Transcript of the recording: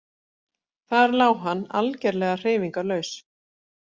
Þar lá hann algerlega hreyfingarlaus.